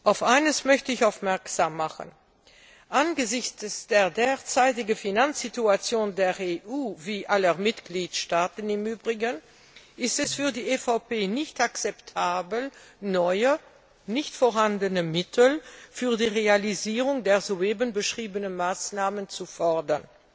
Auf eines möchte ich aufmerksam machen Angesichts der derzeitigen Finanzsituation der EU wie aller Mitgliedstaaten im Übrigen ist es für die EVP nicht akzeptabel, neue, nicht vorhandene Mittel für die Realisierung der soeben beschriebenen Maßnahmen zu fordern.